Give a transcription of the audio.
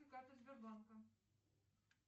карта сбербанка